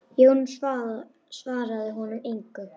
Jón svaraði honum engu.